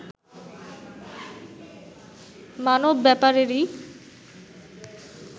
মানব-ব্যাপারেরই